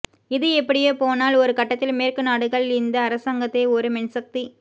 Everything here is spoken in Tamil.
இது இப்படியே போனால் ஒரு கட்டத்தில் மேற்குநாடுகள் இந்த அரசாங்கத்தை ஒரு மென்சக்தி